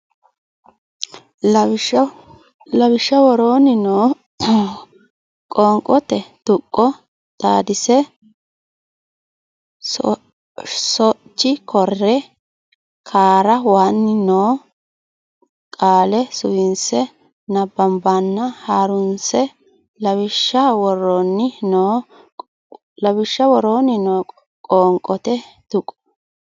Lawishsha woroonni noo qoonqote tuqqo xaadise shoc coor raa wan no qaale suwise nabbawanna ha runse Lawishsha woroonni noo qoonqote tuqqo.